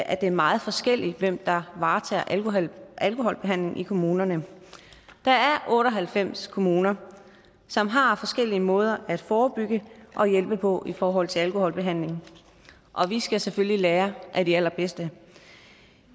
er meget forskelligt hvem der varetager alkoholbehandlingen i kommunerne der er otte og halvfems kommuner som har forskellige måder at forebygge og hjælpe på i forhold til alkoholbehandling og vi skal selvfølgelig lære af de allerbedste